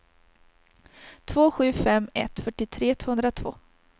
två sju fem ett fyrtiotre tvåhundratvå